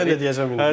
Biri mən də deyəcəm.